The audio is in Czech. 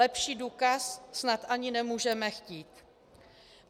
Lepší důkaz snad ani nemůžeme chtít.